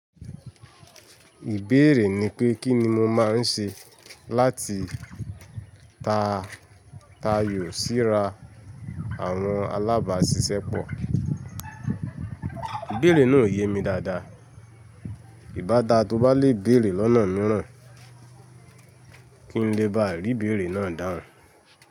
Ìbéèrè ni pé kín ni mo máa ń ṣe láti ta tayò sí ra àwọn alábàásisẹ́pọ̀. Ìbéèrè náà ò yé mi dáadáa. Ìbádaa tó bá le béèrè lọ́nà mìíràn kí n lè bá à rí ìbéèrè náà dáhùn.